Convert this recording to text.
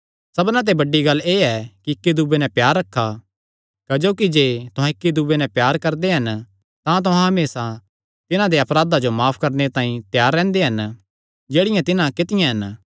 साबना ते बड्डी गल्ल एह़ ऐ कि इक्की दूये नैं प्यार रखा क्जोकि जे तुहां इक्की दूये नैं प्यार करदे हन तां तुहां हमेसा तिन्हां देयां अपराधां जो माफ करणे तांई त्यार रैंह्दे हन जेह्ड़ियां तिन्हां कित्तियां हन